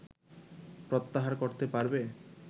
প্রত্যাহার করতে পারবে